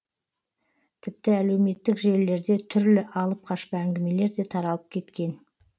тіпті әлеуметтік желілерде түрлі алып қашпа әңгімелер де таралып кеткен